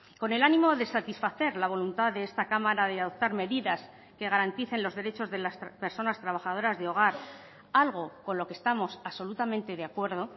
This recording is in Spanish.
con el ánimo de satisfacer la voluntad de esta cámara de adoptar medidas que garanticen los derechos de las personas trabajadoras de hogar algo con lo que estamos absolutamente de acuerdo